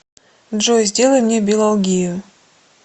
джой сделай мне билолгию